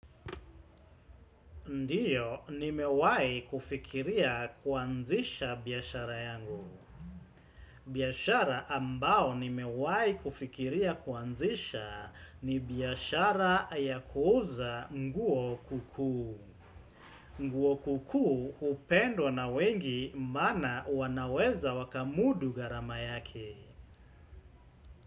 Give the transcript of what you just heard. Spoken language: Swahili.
Ndiyo, nimewahi kufikiria kuanzisha biashara yangu. Biashara ambao nimewahi kufikiria kuanzisha ni biashara ya kuuza nguo kuku. Nguo kukuu hupendwa na wengi maana wanaweza wakamudu gharama yake.